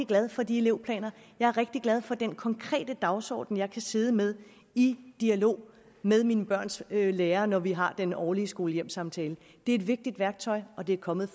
glad for de elevplaner jeg er rigtig glad for den konkrete dagsorden jeg kan sidde med i dialog med mine børns lærere når vi har den årlige skole hjem samtale det er et vigtigt værktøj og det er kommet